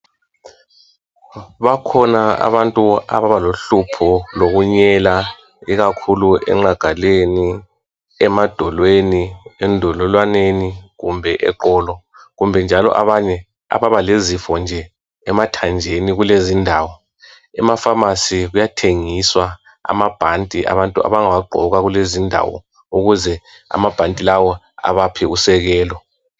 Bakhona abantu ababalohlupho lokunyela ikhakhulu enqagaleni , emadolweni , endololwaneni kumbe eqolo kumbe njalo abanye ababalezifo nje emathanjeni kulezindawo emaPhamarcy kuyathengiswa amabhanti abantu abangawagqoka kulezindawo ukuze amabhanti lawa ebaphe usekelo.